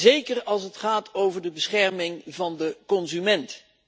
Zeker als het gaat over de bescherming van de consument.